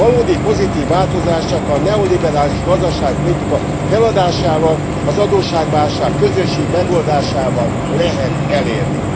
Valódi pozitív változás csak a neoliberális gazdaságpolitika feladásával, az adósságválság közösségi megoldásával lehet elérni.